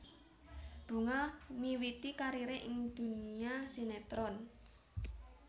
Bunga miwiti karire ing dunia sinetron